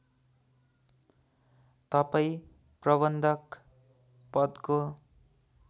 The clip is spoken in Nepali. तपाईँ प्रबन्धक पदको